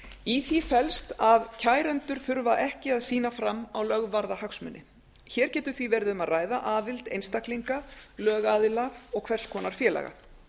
í því felst að kærendur þurfa ekki að sýna fram á lögvarða hagsmuni hér getur því verið um að ræða aðild einstaklinga lögaðila og hvers konar félaga